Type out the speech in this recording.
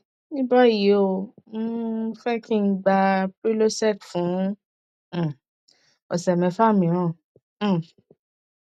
ní báyìí ó um fẹ kí n gba prylosec fún um ọsẹ mẹfà míràn um